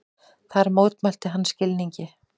Þar mótmælti hann skilningi